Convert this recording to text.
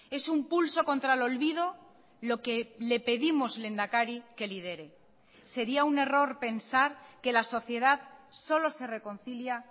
es un pulso contra el olvido lo que le pedimos lehendakari que lidere sería un error pensar que la sociedad solo se reconcilia